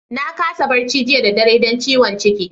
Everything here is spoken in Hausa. Na kasa barci jiya da dare dan ciwon ciki.